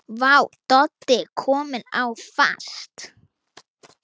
Vá, Doddi kominn á fast!